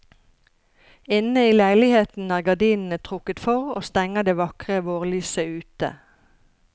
Inne i leiligheten er gardinene trukket for og stenger det vakre vårlyset ute.